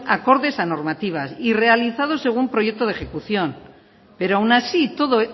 acordes a normativas y realizados según proyecto de ejecución pero aun así y todo